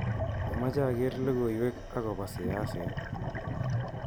Amache aker logoiwek akobo siaset